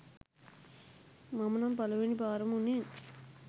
මම නම් පළවෙනි පාරම උනේ